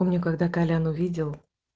он мне когда колян увидел